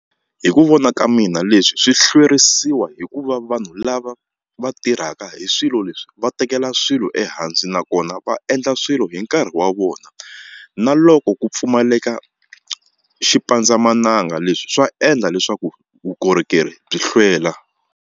Hi ku vona ka mina leswi swi hlwerisiwa hikuva vanhu lava va tirhaka hi swilo leswi va tekela swilo ehansi nakona va endla swilo hi nkarhi wa vona na loko ku pfumaleka xipandzamananga leswi swa endla leswaku vukorhokeri byi hlwela.